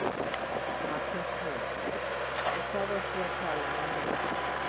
Magnús Hlynur: Og hvað ert þú að tala um mörg?